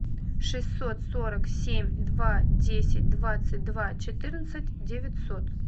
шестьсот сорок семь два десять двадцать два четырнадцать девятьсот